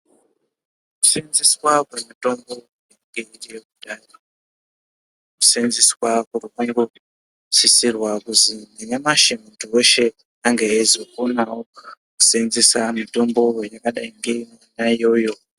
Senzeswa kwemitimbo yedu yekudhaya kusenzeswa kuri kungo sisirwa kuzi nanyamashi muntu weshe ange eizokonawo kusenzesa mutombo yakadai ngeiyoyo.